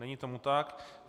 Není tomu tak.